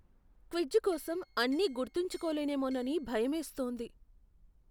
Quiz కోసం అన్నీ గుర్తుంచుకోలేనేమోనని భయమేస్తోంది.